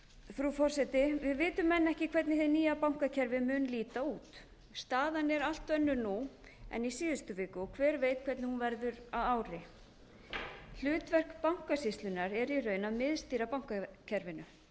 frú forseti við vitum enn ekki hvernig hið nýja bankakerfi mun líta út staðan er allt önnur nú en í síðustu viku og hver veit hvernig hún verður að ári hlutverk bankasýslunnar er í raun að miðstýra bankakerfinu